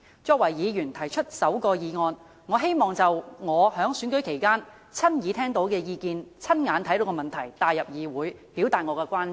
作為提出首項議案的議員，我希望將我在選舉期間親耳聽到的意見、親眼目睹的問題帶入議會，表達我的關注。